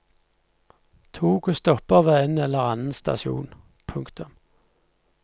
Toget stopper ved en eller annen stasjon. punktum